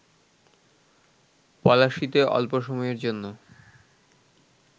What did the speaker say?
পলাশীতে অল্প সময়ের জন্য